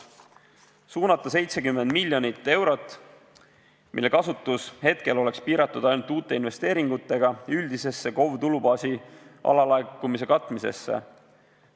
Esiteks, suunata 70 miljonit eurot, mille kasutus hetkel oleks piiratud ainult uute investeeringutega, üldisesse KOV-i tulubaasi alalaekumise katmisesse.